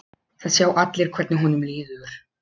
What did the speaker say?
Það sjá allir hvernig honum líður.